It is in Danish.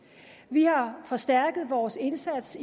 vi har forstærket vores indsats